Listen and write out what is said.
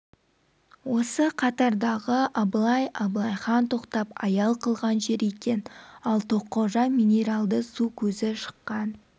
осы қатардағы абылай абылай хан тоқтап аял қылған жер екен ал тоққожа минералды су көзі шыққан